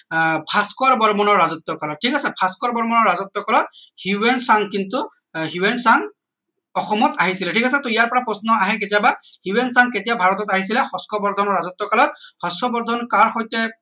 আহ ভাস্কৰ বৰ্মনৰ ৰাজত্ব কালত ঠিক আছে ভাস্কৰ বৰ্মনৰ ৰাজত্ব কালত হিউৱেন চাং কিন্তু আহ হিউৱেন চাং অসমত আহিছিলে ঠিক আছে টৌ ইয়াৰ পৰা প্ৰশ্ন আহে কেতিয়াবা হিউৱেন চাং কেতিয়া ভাৰতত আহিছিলে হৰ্ষবৰ্ধনৰ ৰাজত্ব কালত হৰ্ষবৰ্ধন কাৰ সৈতে